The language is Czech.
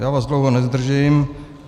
Já vás dlouho nezdržím.